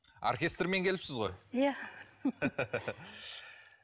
оркестрмен келіпсіз ғой иә